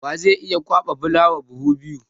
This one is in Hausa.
Wa zai iya kwaɓa fulawa buhu biyu?